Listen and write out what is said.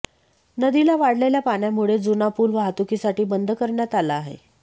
नदीला वाढलेल्या पाण्यामुळे जुना पूल वाहतुकीसाठी बंद करण्यात आला आहे